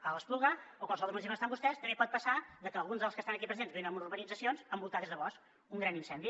a l’espluga o a qualsevol lloc dels municipis on estan vostès també hi pot passar que alguns dels que estan aquí presents visquin en urbanitzacions envoltades de bosc un gran incendi